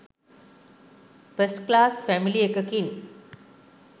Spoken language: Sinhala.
ෆස්ට් ක්ලාස් ෆැමිලි එකකින්